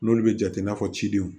N'olu bɛ jate i n'a fɔ cidenw